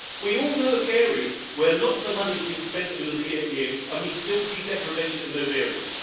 we all know of areas where lots of money has been spent over the years and we still see deprivation in those areas.